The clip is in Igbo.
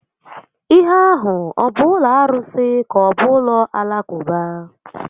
Ihe a hụ ọ bụ ụlọ arụsi ka-ọbụ ụlọ Alakụba?